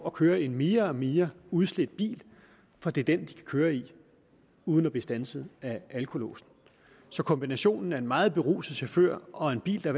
at køre i en mere og mere udslidt bil for det er den de kan køre i uden at blive standset af alkolåsen så kombinationen af en meget beruset chauffør og en bil der